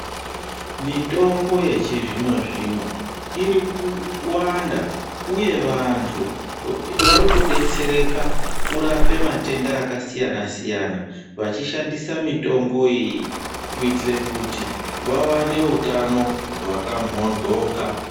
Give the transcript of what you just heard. Mitombo yechizvino-zvino, iri kuwanda ,uye vantu ,vari kudetsereka kurape matenda akasiyana-siyana, vachishishandisa mitomboyeyi kuitite kuti vawane utano hwakamhondwoka.